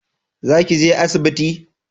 Za ki je asibiti?